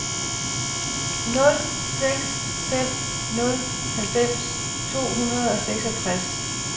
nul seks fem nul halvfems to hundrede og seksogtres